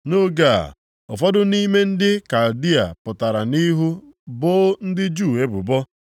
Nʼoge a, ụfọdụ nʼime ndị Kaldịa pụtara nʼihu boo ndị Juu ebubo.